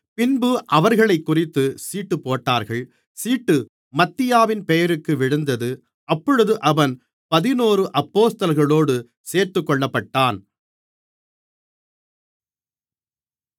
பின்பு அவர்களைக்குறித்துச் சீட்டுப்போட்டார்கள் சீட்டு மத்தியாவின் பெயருக்கு விழுந்தது அப்பொழுது அவன் பதினொரு அப்போஸ்தலர்களோடு சேர்த்துக்கொள்ளப்பட்டான்